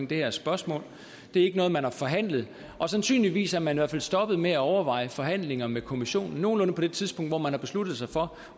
det her spørgsmål det er ikke noget man har forhandlet og sandsynligvis er man i hvert fald stoppet med at overveje forhandlinger med kommissionen nogenlunde på det tidspunkt hvor man har besluttet sig for